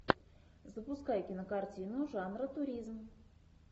запускай кинокартину жанра туризм